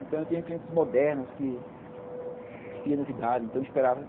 Então eu tinha clientes modernos que queriam novidades, então eu esperava.